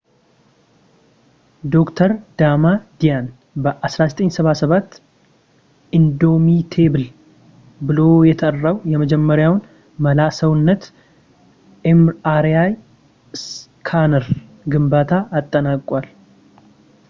ዶ/ር ዳማዲያን በ1977 ኢንዶሚቴብል” ብሎ የጠራው የመጀመሪያውን መላ-ሰውነት” ኤምአርአይ ስካነር ግንባታ አጠናቋል